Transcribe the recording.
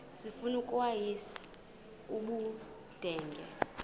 sifuna ukweyis ubudenge